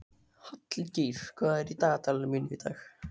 Hallgeir, hvað er í dagatalinu mínu í dag?